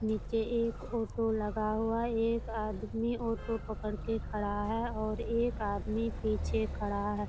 नीचे एक ऑटो लगा हुआ है एक आदमी ऑटो पकड़ के खड़ा है और एक आदमी पीछे खड़ा है।